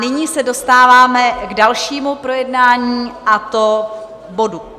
Nyní se dostáváme k dalšímu projednání, a to bodu